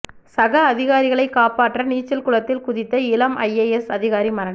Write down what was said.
சக அதிகாரிகளைக் காப்பாற்ற நீச்சல் குளத்தில் குதித்த இளம் ஐஏஎஸ் அதிகாரி மரணம்